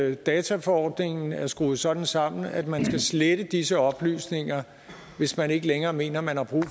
at dataforordningen er skruet sådan sammen at man kan slette disse oplysninger hvis man ikke længere mener man har brug